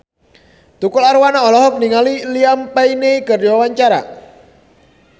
Tukul Arwana olohok ningali Liam Payne keur diwawancara